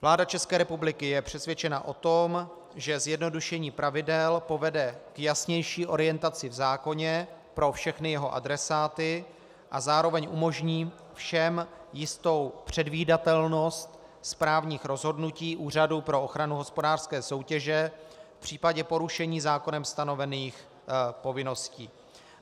Vláda České republiky je přesvědčena o tom, že zjednodušení pravidel povede k jasnější orientaci v zákoně pro všechny jeho adresáty a zároveň umožní všem jistou předvídatelnost správních rozhodnutí Úřadu pro ochranu hospodářské soutěže v případě porušení zákonem stanovených povinností.